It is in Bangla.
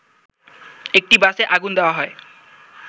একটি বাসে আগুন দেয়া হয়